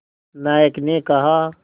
नायक ने कहा